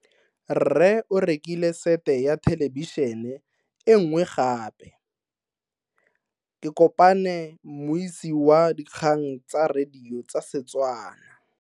Rre o rekile sete ya thelebišene e nngwe gape. Ke kopane mmuisi w dikgang tsa radio tsa Setswana.